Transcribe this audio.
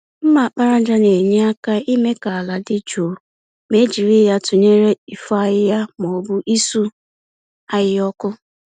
mma àkpàràjà na-enye aka ime ka àlà dị jụụ, ma e jiri ya tụnyere ifo ahịhịa ma ọ bụ isu ahịhịa ọkụ.